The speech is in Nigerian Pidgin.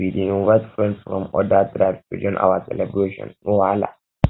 we dey invite friends from odir tribes to join our celebration no wahala